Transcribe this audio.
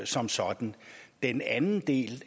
som sådan den anden del